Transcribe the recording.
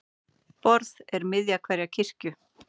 Borð er miðja hverrar kirkju.